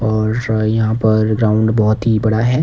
और जो है यहां पर ग्राउंड बहोत ही बड़ा है।